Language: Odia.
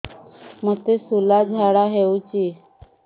ମୋତେ ଶୂଳା ଝାଡ଼ା ହଉଚି